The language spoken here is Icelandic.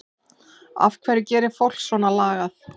En af hverju gerir fólk svona lagað?